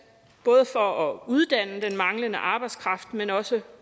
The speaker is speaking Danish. både for at uddanne den mangler arbejdskraft men også